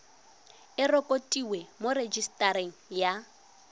e rekotiwe mo rejisetareng ya